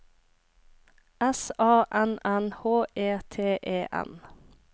S A N N H E T E N